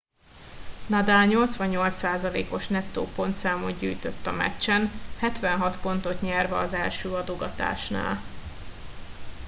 nadal 88%-os nettó pontszámot gyűjtött a meccsen 76 pontot nyerve az első adogatásnál